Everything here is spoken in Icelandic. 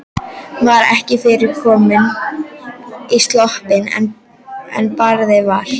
Var ekki fyrr komin í sloppinn en barið var.